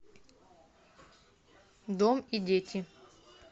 дом и дети